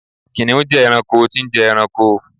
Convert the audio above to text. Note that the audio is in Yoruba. kìnìún je ẹranko tí n je ẹranko